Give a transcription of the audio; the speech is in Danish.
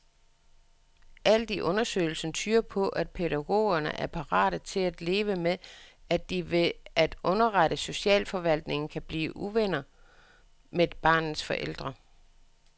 Alt i undersøgelsen tyder på, at pædagogerne er parate til at leve med, at de ved at underrette socialforvaltningen kan blive uvenner med barnets forældre.